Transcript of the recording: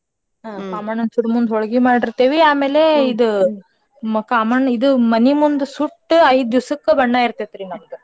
ಕಾಮಣ್ಣನ್ ಸುಡೋಮುಂದ್ ಹೋಳ್ಗಿ ಮಾಡಿರ್ತೇವಿ ಆಮೇಲೆ ಇದು ಮ್~ ಕಾಮಣ್ಣ ಇದು ಮನಿ ಮುಂದ್ ಸುಟ್ಟ ಐದ್ ದಿಸಕ್ಕ ಬಣ್ಣ ಇರ್ತೇತ್ರಿ ನಮ್ದ.